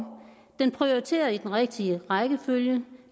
det prioriterer i den rigtige rækkefølge